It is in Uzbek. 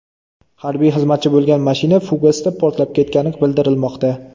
Harbiy xizmatchi bo‘lgan mashina fugasda portlab ketgani bildirilmoqda.